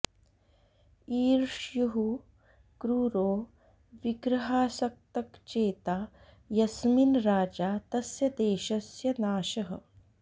ईर्ष्युः क्रूरो विग्रहासक्तग्चेता यस्मिन् राजा तस्य देशस्य नाशः